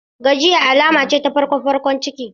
Gajiya akai-akai alama ce ta farkon farkon ciki.